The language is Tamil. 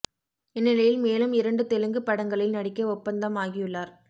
இந்நிலையில் மேலும் இரண்டு தெலுங்கு படங்களில் நடிக்க ஒப்பந்தம் ஆகியுள்ளார்